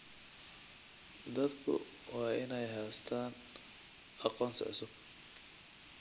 Dadku waa inay haystaan ??aqoonsi cusub.